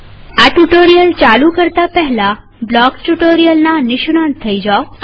કૃપયા કરી આ ટ્યુ્ટોરીઅલ ચાલુ કરતા પહેલા બ્લોકસ ટ્યુ્ટોરીઅલના નિષ્ણાંત થઇ જાઓ